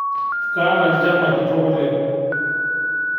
Kaata lnjama kitok oleng